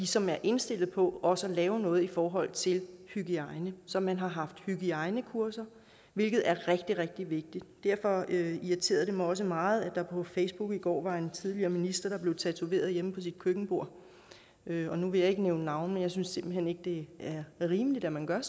som er indstillet på også at lave noget i forhold til hygiejnen så man har haft hygiejnekurser hvilket er rigtig rigtig vigtigt derfor irriterede det mig også meget at der på facebook i går var en tidligere minister der blev tatoveret hjemme på sit køkkenbord nu vil jeg ikke nævne navne men jeg synes simpelt hen ikke det er rimeligt at man gør